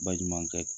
Ba ɲumankɛ